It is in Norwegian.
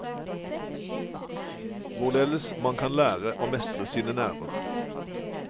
Hvorledes man kan lære å mestre sine nerver.